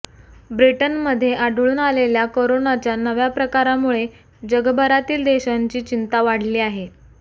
ब्रिटनमध्ये आढळून आलेल्या कोरोनाच्या नव्या प्रकारामुळे जगभरातील देशांची चिंता वाढली आहे